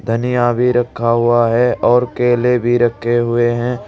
धनिया भी रखा हुआ है और केले भी रखे हुए हैं।